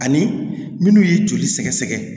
Ani minnu ye joli sɛgɛsɛgɛ